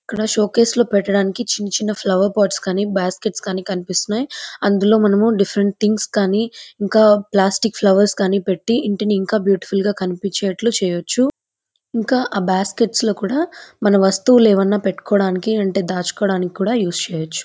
ఇక్కడ shoe case లో పెట్టడానికి చిన్న చిన్న ఫ్లవర్ పాట్స్ కానీ బాస్కెట్స్ కనిపిస్తున్నాయ్ అందులో మనము డిఫరెంట్ థింగ్స్ కానీ ఇంకా ప్లాస్టిక్ ఫ్లవర్స్ కానీ పెట్టి ఇంకా ఇంటిని బ్యూటిఫుల్ గ కనిపించినట్లు చేయొచ్చు. ఇంకా ఆ బాస్కెట్స్ కూడా మన వస్తువులు ఏమైనా పెట్టు కోవడానికి అంటే దాచికోవడానికి కూడ యూస్ చేయొచ్చు.